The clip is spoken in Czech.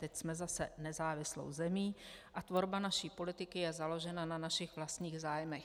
Teď jsme zase nezávislou zemí a tvorba naší politiky je založena na našich vlastních zájmech."